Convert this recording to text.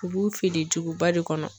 U b'u feere duguba de kɔnɔ.